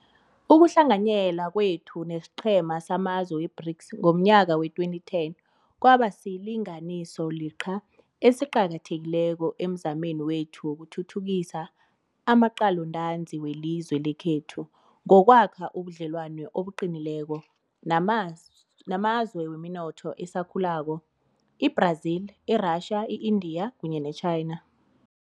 Ukuhlanganyela kwethu nesiqhema samazwe weBRICS ngomnyaka wee-2010 kwabasilinganisoliqha esiqakathekileko emzameni wethu wokuthuthukisa amaqalontanzi welizwe lekhethu ngokwakha ubudlelwano obuqinileko namazwe weminotho esakhulako, i-Brazil, i-Russia, i-India kunye neChina.